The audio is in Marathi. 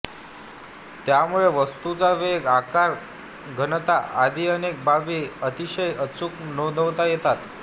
त्यामुळे वस्तूचा वेग आकार घनता आदी अनेक बाबी अतिशय अचूक नोंदवता येतात